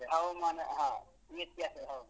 ಹವಾಮಾನ ಹಾ ವ್ಯತ್ಯಾಸ ಹೌದು.